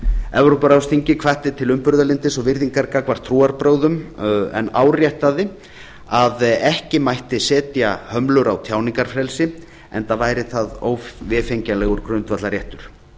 evrópuráðsþingið hvatti til umburðarlyndis og virðingar gagnvart trúarbrögðum en áréttaði að ekki mætti setja hömlur á tjáningarfrelsi enda væri það óvefengjanlegur grundvallarréttur